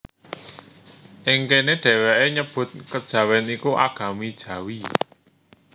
Ing kéné dhèwèké nyebut Kejawèn iku Agami Jawi